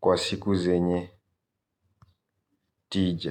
kwa siku zenye tija.